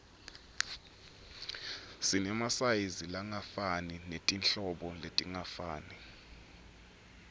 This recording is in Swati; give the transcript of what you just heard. sinemasayizi langefani netinhlobo letingafani